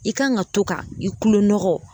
I kan ka to ka i kulo nɔgɔ